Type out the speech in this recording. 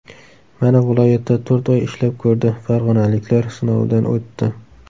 Mana viloyatda to‘rt oy ishlab ko‘rdi, farg‘onaliklar sinovidan o‘tdi.